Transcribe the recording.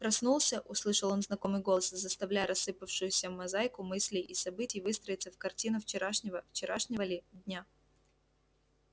проснулся услышал он знакомый голос заставляя рассыпавшуюся мозаику мыслей и событий выстроиться в картину вчерашнего вчерашнего ли дня